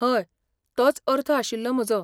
हय, तोच अर्थ आशिल्लो म्हजो.